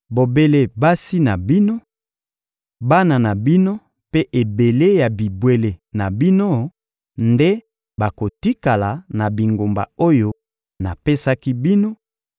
Bobele basi na bino, bana na bino mpe ebele ya bibwele na bino nde bakotikala na bingumba oyo napesaki bino